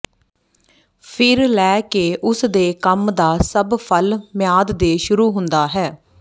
ਫਿਰ ਲੈ ਕੇ ਉਸ ਦੇ ਕੰਮ ਦਾ ਸਭ ਫਲ ਮਿਆਦ ਦੇ ਸ਼ੁਰੂ ਹੁੰਦਾ ਹੈ